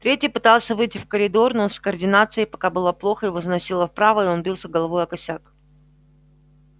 третий пытался выйти в коридор но с координацией пока было плохо его заносило вправо и он бился головой о косяк